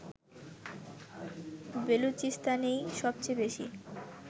বেলুচিস্তানেই সবচেয়ে বেশি